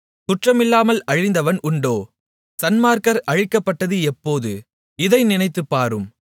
குற்றமில்லாமல் அழிந்தவன் உண்டோ சன்மார்க்கர் அழிக்கப்பட்டது எப்போது இதை நினைத்துப்பாரும்